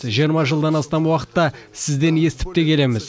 жиырма жылдан астам уақытта сізден естіп те келеміз